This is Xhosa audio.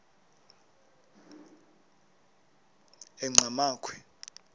enqgamakhwe